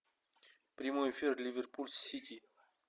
прямой эфир ливерпуль с сити